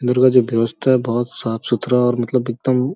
दरवाजा व्यवस्था बहुत साफ़ सुथरा और मतलब एकदम --